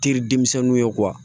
Teri denmisɛnninw ye